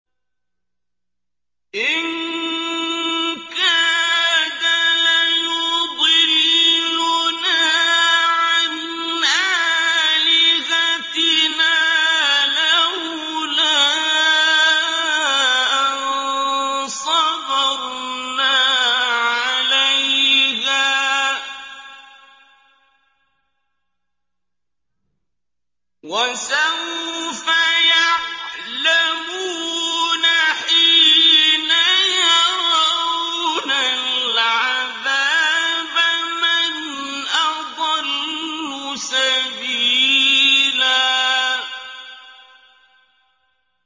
إِن كَادَ لَيُضِلُّنَا عَنْ آلِهَتِنَا لَوْلَا أَن صَبَرْنَا عَلَيْهَا ۚ وَسَوْفَ يَعْلَمُونَ حِينَ يَرَوْنَ الْعَذَابَ مَنْ أَضَلُّ سَبِيلًا